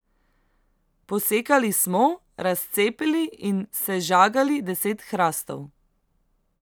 Posekali smo, razcepili in sežagali deset hrastov.